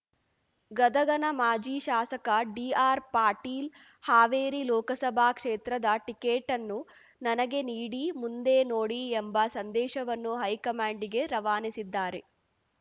ಗದಗನ ಮಾಜಿ ಶಾಸಕ ಡಿಆರ್ಪಾಟೀಲ್ ಹಾವೇರಿ ಲೋಕಸಭಾ ಕ್ಷೇತ್ರದ ಟಿಕೆಟ್‌ನ್ನು ನನಗೆ ನೀಡಿ ಮುಂದೆ ನೋಡಿ ಎಂಬ ಸಂದೇಶವನ್ನು ಹೈಕಮಾಂಡಿಗೆ ರವಾನಿಸಿದ್ದಾರೆ